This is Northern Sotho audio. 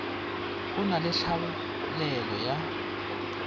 go na le tlhaelelo ya